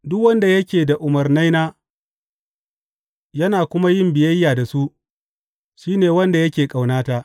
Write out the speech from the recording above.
Duk wanda yake da umarnaina yana kuma yin biyayya da su, shi ne wanda yake ƙaunata.